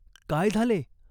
" काय झाले ?